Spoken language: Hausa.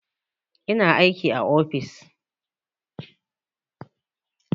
Ina aiki a ofis